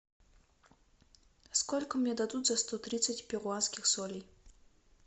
сколько мне дадут за сто тридцать перуанских солей